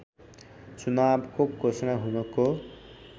चुनावको घोषणा हुनको